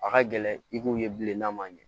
A ka gɛlɛn i kun ye bilen n'a ma ɲɛ